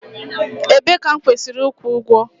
Ebee ka m kwesịrị ịkwụ ụgwọ?